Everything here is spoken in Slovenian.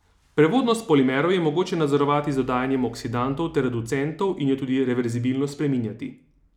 Prevodnost polimerov je mogoče nadzorovati z dodajanjem oksidantov ter reducentov in jo tudi reverzibilno spreminjati.